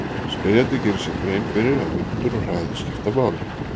Spyrjandi gerir sér grein fyrir að vindur og hraði skipta máli.